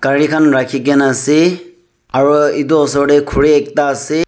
gari khan rakhi kaena ase aro edu osor tae khuri ekta ase.